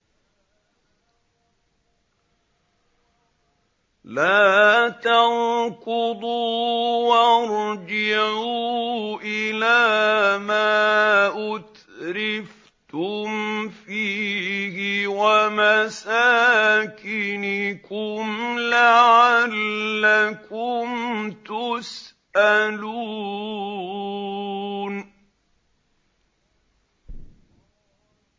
لَا تَرْكُضُوا وَارْجِعُوا إِلَىٰ مَا أُتْرِفْتُمْ فِيهِ وَمَسَاكِنِكُمْ لَعَلَّكُمْ تُسْأَلُونَ